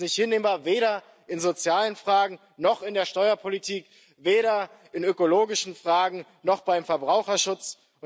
Das ist nicht hinnehmbar, weder in sozialen Fragen noch in der Steuerpolitik, weder in ökologischen Fragen noch beim Verbraucherschutz.